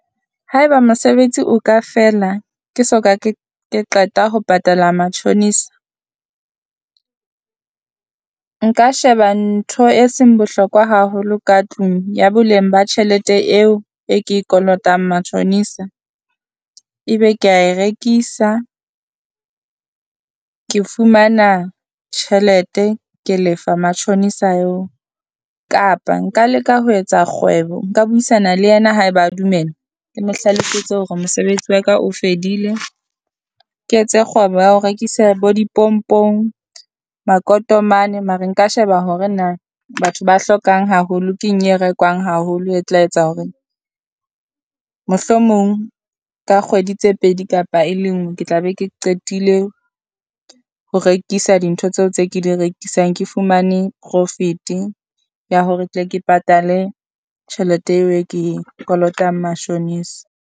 Haeba mosebetsi o ka fela ke soka ke ke qeta ho patala matjhonisa, nka sheba ntho e seng bohlokwa haholo ka tlung ya boleng ba tjhelete eo e ke e kolotang matjhonisa. Ebe kea e rekisa ke fumana tjhelete ke lefa matjhonisa eo, kapa nka leka ho etsa kgwebo nka buisana le yena haeba a dumela, ke mo hlalosetse hore mosebetsi wa ka o fedile. Ke etse kgwebo ya ho rekisa bo dipompong, makotomane mare nka sheba hore na batho ba hlokang haholo. Ke eng e rekwang haholo e tla etsa hore mohlomong ka kgwedi tse pedi kapa e le ngwe ke tla be ke qetile ho rekisa dintho tseo tse ke di rekisang. Ke fumane profit-e ya hore tle ke patale tjhelete eo e ke e kolotang mashonisa.